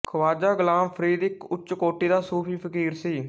ਖਵਾਜਾ ਗੁਲਾਮ ਫਰੀਦ ਇੱਕ ਉੱੱਚ ਕੋਟੀ ਦਾ ਸੂਫ਼ੀ ਫਕੀਰ ਸੀ